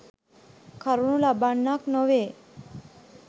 කරනු ලබන්නක් නොවේ.